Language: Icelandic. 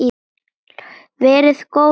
Verið góð við ykkur.